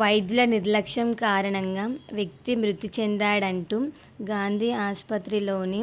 వైద్యుల నిర్లక్ష్యం కారణంగా వ్యక్తి మృతిచెందాడంటూ గాంధీ ఆసుపత్రి లోని